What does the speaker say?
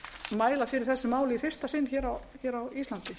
mæla fyrir þessu máli í fyrsta sinn á íslandi